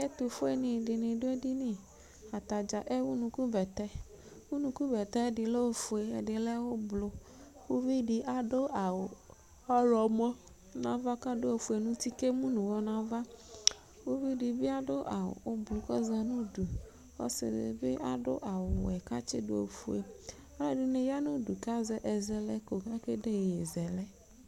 Ɛtʋfuenɩ dɩnɩ dʋ edini Ata dza ewu unukubɛtɛ Unukubɛtɛ dɩ lɛ ofue, ɛdɩ lɛ ʋblo Uvi dɩ adʋ awʋ ɔɣlɔmɔ nʋ ava kʋ adʋ ofue nʋ uti kʋ emu nʋ ʋɣɔ nʋ ava Uvi dɩ bɩ adʋ awʋ ʋblʋ kʋ ɔza nʋ udu Ɔsɩ dɩ bɩ adʋ awʋwɛ kʋ atsɩdʋ ofue Alʋɛdɩnɩ ya nʋ udu kʋ azɛlɛko kʋ akede iyeyezɛlɛ